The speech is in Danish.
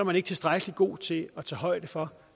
man ikke tilstrækkelig god til at tage højde for